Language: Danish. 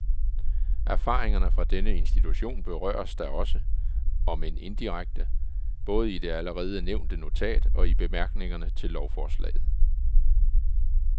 Erfaringerne fra denne institution berøres da også, om end indirekte, både i det allerede nævnte notat og i bemærkningerne til lovforslaget.